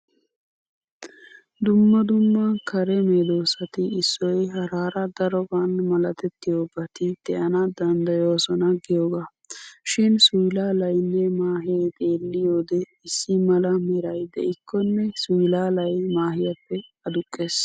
Dumma dumma kare meedosati issoy haraara daroban malatettiyobati de'ana danddayoosona giyogaa. Shin suylaalynne maahee xeellyide issi mala meray de'ikkonne suylaalay maahiyappe aduqqees.